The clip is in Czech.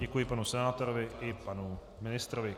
Děkuji panu senátorovi i panu ministrovi.